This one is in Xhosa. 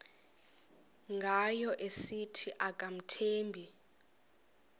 ngayo esithi akamthembi